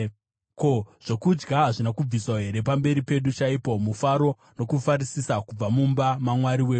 Ko, zvokudya hazvina kubviswa here pamberi pedu chaipo, mufaro nokufarisisa kubva mumba maMwari wedu?